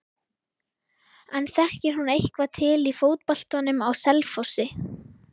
En þekkir hún eitthvað til í fótboltanum á Selfossi?